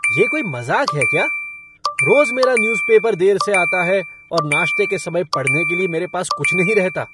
ये कोई मज़ाक है क्या? रोज़ मेरा न्यूज़ पेपर देर से आता है और नाश्ते के समय पढ़ने के लिए मेरे पास कुछ नहीं रहता।